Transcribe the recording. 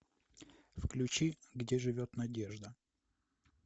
включи где живет надежда